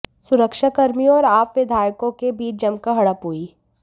सुरक्षा कर्मियों और आप विधायकों के बीच जमकर झड़प हुई